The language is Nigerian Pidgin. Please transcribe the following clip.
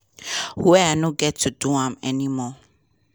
wia i no get to do am anymore.